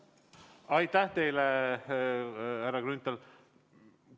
Aitäh teile, härra Grünthal!